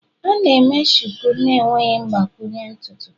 A na-eme Shuku na-enweghị mgbakwunye ntutu.